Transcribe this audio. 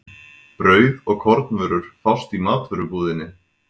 Brauð og kornvörur fást í matvörubúðinni.